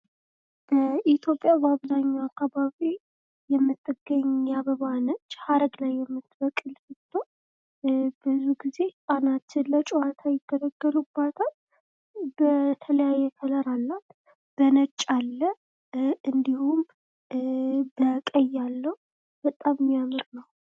ኢትዮጵያ በአብዛኛው አካባቢ የምትገኝ አበባ ነች ፤ ሀረግ ላይ የምትበቅል ስትሆን ብዙ ግዜ አናት ላይ ለጨዋታ ይገለገሉባታል። በተለያየ ከለር አላት በነጭ አላት ፥ እንዲሁም በቀይ አለው በጣም የሚያምር ነው።